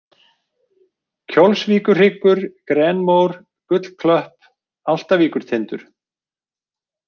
Kjólsvíkurhryggur, Grenmór, Gullklöpp, Álftavíkurtindur